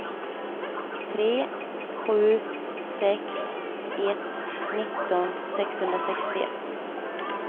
tre sju sex ett nitton sexhundrasextioett